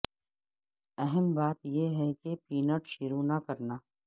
اہم بات یہ ہے کہ پینٹ شروع نہ کرنا